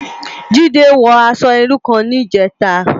Jide wò aṣò irú kán nijètá